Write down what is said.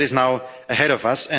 That is now ahead of us.